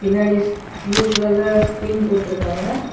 பின்னாடி ஸ் ப்ளூ கலர்ல ஸ்கிரீன் போட்டுருக்கறாங்க.